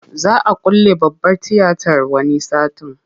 Za a külle babbar tiyatar wani satin.